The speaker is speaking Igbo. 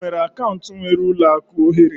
Ị nwere akaụntụ nwere ụlọ akụ ohere?